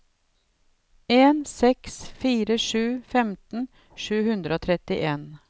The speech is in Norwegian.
en seks fire sju femten sju hundre og trettien